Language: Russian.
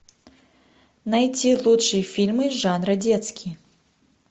найти лучшие фильмы жанра детский